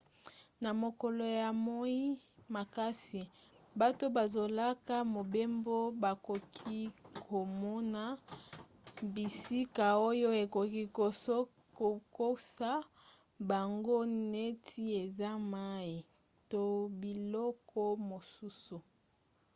na mokolo ya moi makasi bato bazosala mobembo bakoki komona bisika oyo ekoki kokosa bango neti eza mai to biloko mosusu